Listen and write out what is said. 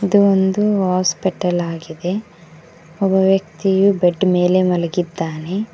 ಇದು ಒಂದು ಹಾಸ್ಪಿಟಲ್ ಆಗಿದೆ ಒಬ್ಬ ವ್ಯಕ್ತಿಯು ಬೆಡ್ ಮೇಲೆ ಮಲಗಿದ್ದಾನೆ.